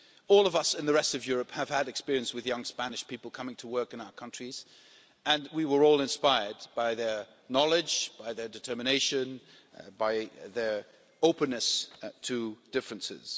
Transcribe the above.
All of us in the rest of Europe have had experience with young Spanish people coming to work in our countries and we were all inspired by their knowledge, their determination and their openness to differences.